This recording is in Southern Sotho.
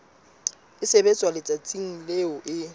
e sebetswa letsatsing leo e